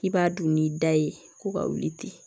K'i b'a dun n'i da ye ko ka wuli ten